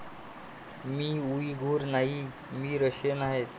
मी Uyghur नाहीये. मी Russian आहे.